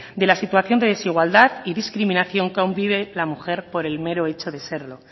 de la situación de desigualdad y discriminación que aun vive la mujer por el mero hecho de serlo